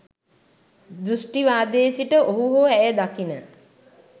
දෘෂ්ටිවාදයේ සිට ඔහු හෝ ඇය දකින